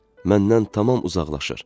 Məndən tamam uzaqlaşır.